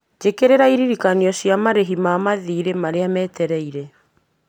njĩkĩrĩra iririkano ciĩgiĩ marĩhi ma mathiirĩ marĩa metereire